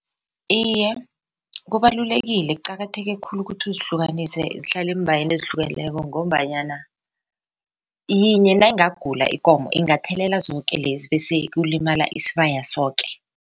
Iye, kubalulekile kuqakatheke khulu ukuthi uzihlukanise zihlale eembhayeni ezihlukeneko ngombanyana yinye nayingagula ikomo ingathelela zoke lezi bese kulimala isibaya soke.